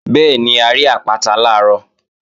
Bẹ́ẹ̀ni, a rí àpáta làárọ̀